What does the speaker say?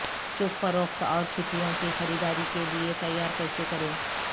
چپ فروخت اور چھٹیوں کی خریداری کے لئے تیار کیسے کریں